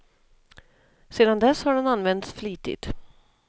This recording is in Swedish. Sedan dess har den använts flitigt.